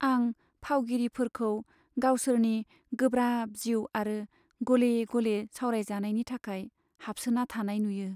आं फावगिरिफोरखौ गावसोरनि गोब्राब जिउ आरो गले गले सावरायजानायनि थाखाय हाबसोना थानाय नुयो।